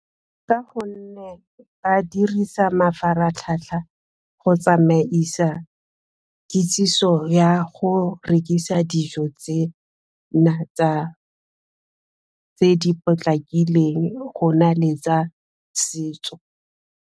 Ka gonne ba dirisa mafaratlhatlha go tsamaisa kitsiso ya go rekisa dijo tsena tse di potlakileng go na le tsa setso.